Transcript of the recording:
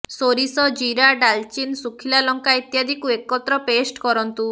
ସୋରିଷ ଜିରା ଡାଲଚିନ୍ ସୁଖିଲା ଲଙ୍କା ଇତ୍ୟାଦିକୁ ଏକତ୍ର ପେଷ୍ଟ୍ କରନ୍ତୁ